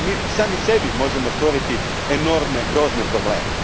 Sami sebi možemo stvoriti enormne, grozne probleme.